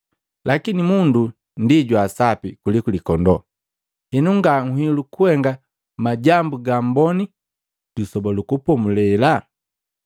Lakini mundu ndi jwa sapi kuliku likondoo! Henu, nga nhilu kuhenga majambu ga amboni Lisoba lu Kupomulela.”